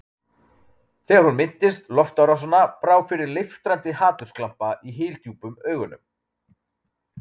Þegar hún minntist loftárásanna brá fyrir leiftrandi hatursglampa í hyldjúpum augunum.